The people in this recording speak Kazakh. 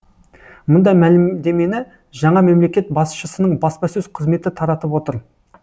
мұндай мәлімдемені жаңа мемлекет басшысының баспасөз қызметі таратып отыр